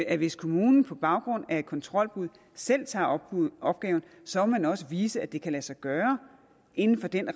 at hvis kommunen på baggrund af et kontrolbud selv tager opgaven så må den også vise at det kan lade sig gøre inden for den